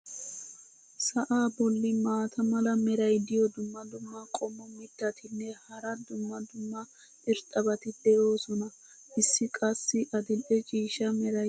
sa"aa bolli maata mala meray diyo dumma dumma qommo mittatinne hara dumma dumma irxxabati de'oosona. issi qassi adil'e ciishsha meraykka beetees.